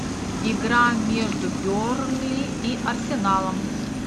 игра между бернли и арсеналом